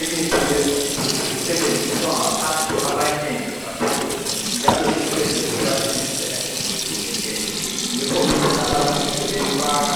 Imithi yesuntu isisebenziswa ngabantu abanengi kakhulu njalo isisetshenziswa izindlela ezihlukeneyo yikho uthola abanye sebeyifaka